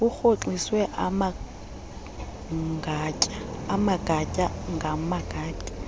urhoxiswe amagatya ngamagatya